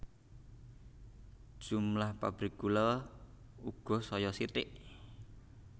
Jumlah pabrik gula uga saya sithik